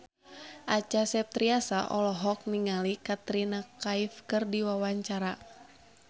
Acha Septriasa olohok ningali Katrina Kaif keur diwawancara